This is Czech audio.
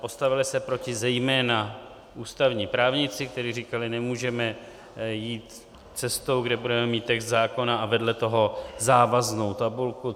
Postavili se proti zejména ústavní právníci, kteří říkali: Nemůžeme jít cestou, kde budeme mít text zákona a vedle toho závaznou tabulku.